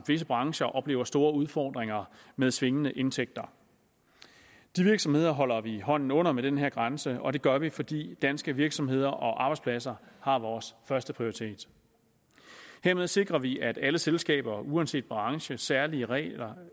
visse brancher oplever store udfordringer med svingende indtægter de virksomheder holder vi hånden under med den her grænse og det gør vi fordi danske virksomheder og arbejdspladser har vores første prioritet hermed sikrer vi at alle selskaber uanset branchens særlige regler